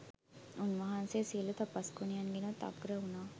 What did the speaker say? උන්වහන්සේ සියලූ තපස් ගුණයන්ගෙනුත් අග්‍ර වුනා